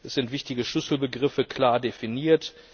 Es sind wichtige Schlüsselbegriffe klar definiert.